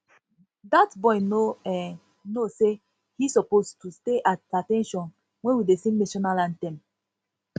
dat boy no um know say he suppose to stay at at ten tion wen we dey sing national anthem